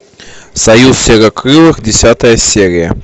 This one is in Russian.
союз серокрылых десятая серия